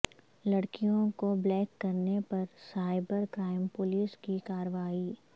لڑکیوں کو بلیک کرنے پر سائبر کرائم پولیس کی کارروائی